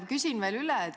Küsin veel üle.